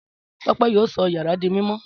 Tọ́pẹ́ yóò sọ yàrá di mímọ́.